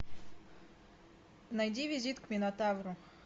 найди визит к минотавру